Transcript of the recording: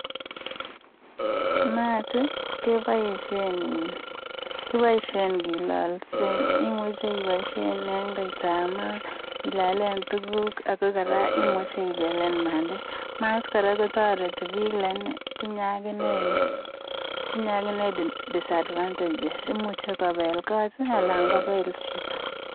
Mat kiboishen eng kelalsen imuchin iboishen eng koita ap mat ilalen tuguk akot koraa imuchi ibelen pandek. Mat kora kotoreti pik lakini tinye agine, disadvantages imuche kopel kot anan kopel chito